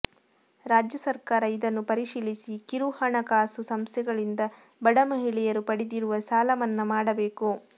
ರಾಜ್ಯ ಸರಕಾರ ಇದನ್ನು ಪರಿಶೀಲಿಸಿ ಕಿರುಹಣ ಕಾಸು ಸಂಸ್ಥೆಗಳಿಂದ ಬಡ ಮಹಿಳೆಯರು ಪಡೆದಿರುವ ಸಾಲಮನ್ನಾ ಮಾಡಬೇಕು